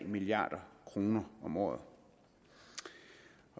milliard kroner om året